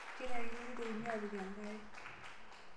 Kenarikino neitokini apik enkare